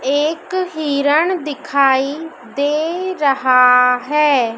एक हिरण दिखाई दे रहा है।